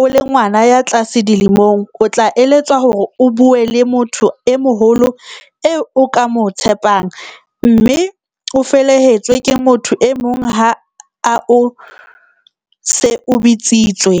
o le ngwana ya tlase dilemong, o tla eletswa hore o bue le motho e moholo eo o ka mo tshepang, mme o felehetswe ke motho e mong ha o se o bitsitswe.